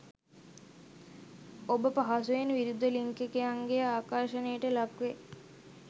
ඔබ පහසුවෙන් විරුද්ධ ලිංගිකයන්ගේ ආකර්ෂණයට ලක්වේ.